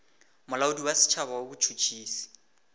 molaodi wa setšhaba wa botšhotšhisi